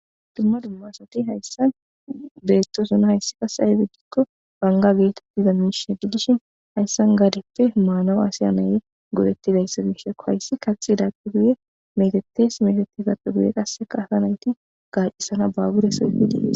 Dumma dumma asati hayssan beettoossona hayssi qase ayede gikko bangga geetettiza miishie giddishin hayssan gaadeppe maanaw aasay nayi go'ettidayssa be'ishshekko hayssi kaxidappe guye meteettees meeteetidapoe guye qasseka asa nayti gaacisana baabuure soo efidii